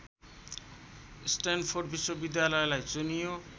Stanford विश्वविद्यालयलाई चुनियो